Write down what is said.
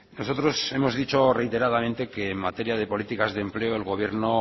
nosotros hemos dicho reiteradamente que en materia de políticas de empleo el gobierno